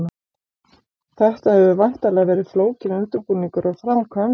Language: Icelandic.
Þetta hefur væntanlega verið flókinn undirbúningur og framkvæmd?